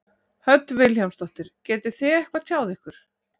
Hödd Vilhjálmsdóttir: Getið þið eitthvað tjáð ykkur?